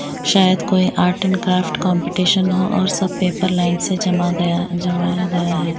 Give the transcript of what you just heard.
शायद कोई art and craft competition हो और सब पेपर लाइन से जमा गया जमाया गया है।